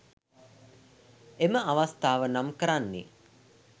එම අවස්ථාව නම් කරන්නේ